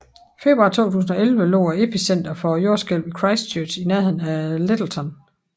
Februar 2011 lå epicentret for jordskælvet i Christchurch i nærheden af Lyttelton